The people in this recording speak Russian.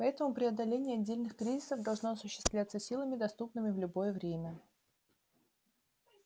поэтому преодоление отдельных кризисов должно осуществляться силами доступными в любое время